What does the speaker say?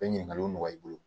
Bɛ ɲininkaliw nɔgɔya i bolo